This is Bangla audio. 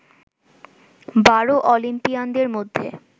বারো অলিম্পিয়ানদের মধ্যে